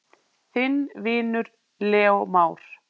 Þinn vinur, Leó Már.